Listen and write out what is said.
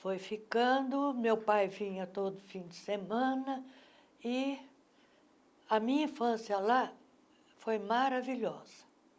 Foi ficando, meu pai vinha todo fim de semana e a minha infância lá foi maravilhosa.